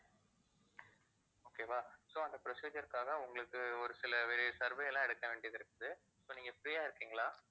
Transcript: okay வா so அந்த procedure க்காக உங்களுக்கு ஒரு சில veri~ survey எல்லாம் எடுக்க வேண்டியது இருக்குது இப்ப நீங்க free ஆ இருக்கீங்களா